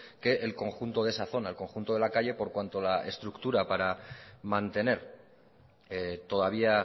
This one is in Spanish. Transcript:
que el conjunto de esa zona el conjunto de la calle por cuanto la estructura para mantener todavía